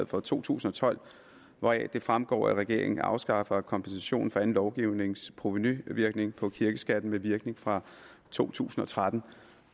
for to tusind og tolv hvoraf det fremgår at regeringen afskaffer kompensationen for anden lovgivnings provenuvirkning på kirkeskatten med virkning fra to tusind og tretten